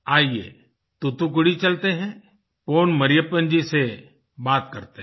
आइये तुतुकुड़ी चलते हैं पोन मरियप्पन जी से बात करते हैं